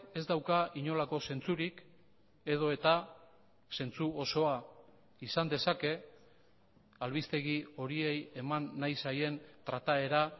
ez dauka inolako zentzurik edota zentzu osoa izan dezake albistegi horiei eman nahi zaien trataera